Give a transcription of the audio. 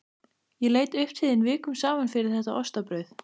Ég leit upp til þín vikum saman fyrir þetta ostabrauð.